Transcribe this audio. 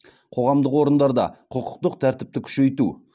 қоғамдық орындарда құқықтық тәртіпті күшейту